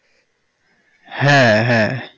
হ্যাঁ হ্যাঁ